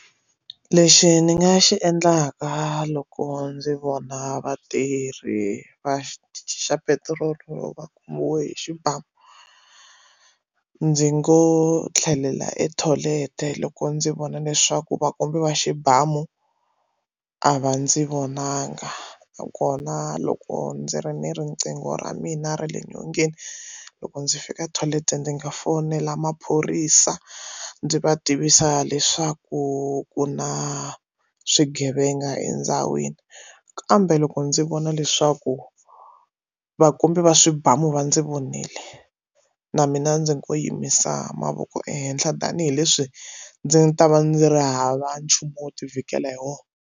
Lexi ni nga xi endlaka loko ndzi vona vatirhi va xa petirolo va khomiwe hi xibamu ndzi ngo tlhelela e tholete loko ndzi vona leswaku va kombiwa xibamu a va ndzi vonangi kona loko ndzi ri ni riqingho ra mina ra le nyongeni loko ndzi fika tholete ndzi nga fonela maphorisa ndzi va tivisa leswaku ku na swigevenga endhawini kambe loko ndzi vona leswaku vakomberi va swibamu va ndzi vonile na mina ndzi ko yimisa mavoko ehenhla tanihileswi ndzi nga ta va ndzi ri hava nchumu wo ti vhikela hi wona.